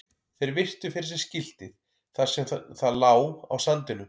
Þeir virtu fyrir sér skiltið þar sem það lá á sandinum.